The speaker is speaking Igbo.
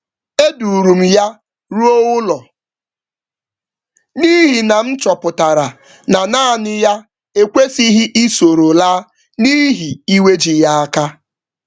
E duurum ya ruo ụlọ n'ihi na m chọpụtara na nanị ya ekwesịghi isoro laa n'ihi iwe ji ya áká